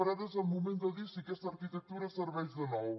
però ara és el moment de dir si aquesta arquitectura serveix de nou